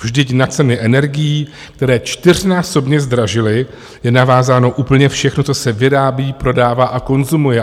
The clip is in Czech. Vždyť na ceny energií, které čtyřnásobně zdražily, je navázáno úplně všechno, co se vyrábí, prodává a konzumuje.